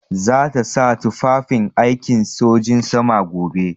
Za ta sa tufafin aikin sojin sama gobe.